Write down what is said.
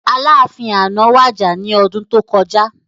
Aláàfin àná wàjà ní ọdún tó kọjá